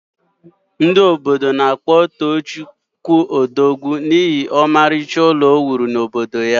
Ndị obodo na-akpọ Tochi Odogwu n’ihi ọmarịcha ụlọ o wuru n’obodo ya